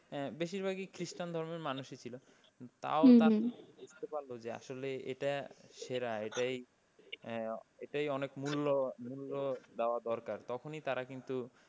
বেশিরভাগই খ্রিস্টান ধর্মের মানুষই ছিল। তাও তারা বুঝতে পারল যে এটা সেরা এটাই এটাই অনেক মূল্য মূল্য দেওয়া দরকার তখনই তারা কিন্ত,